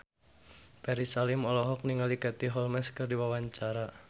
Ferry Salim olohok ningali Katie Holmes keur diwawancara